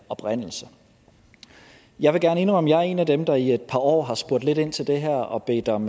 oprindelse jeg vil gerne indrømme at jeg er en af dem der i et par år har spurgt lidt ind til det her og bedt om